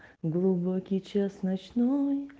глубокий час ночной